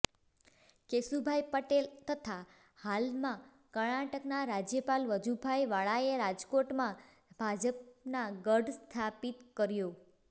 કેશુભાઈ પટેલ તથા હાલમાં કર્ણાટકના રાજ્યપાલ વજુભાઈ વાળાએ રાજકોટમાં ભાજપના ગઢ સ્થાપિત કર્યો